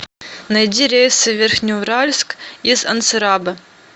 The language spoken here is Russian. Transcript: найди рейсы в верхнеуральск из анцирабе